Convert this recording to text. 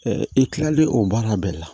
i kilalen o baara bɛɛ la